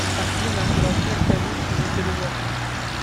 афина размер комиссии за перевод